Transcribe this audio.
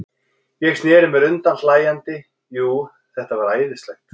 Ég sneri mér undan hlæjandi, jú, þetta var æðislegt.